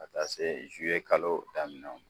Ka taa se kalo daminɛ